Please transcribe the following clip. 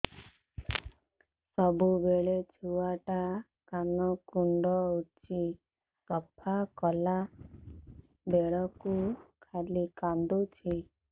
ସବୁବେଳେ ଛୁଆ ଟା କାନ କୁଣ୍ଡଉଚି ସଫା କଲା ବେଳକୁ ଖାଲି କାନ୍ଦୁଚି